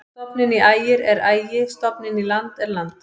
Stofninn í Ægir er Ægi-, stofninn í land er land.